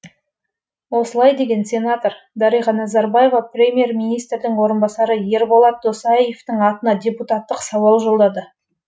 осылай деген сенатор дариға назарбаева премьер министрдің орынбасары ерболат досаевтың атына депутаттық сауал жолдады